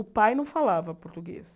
O pai não falava português.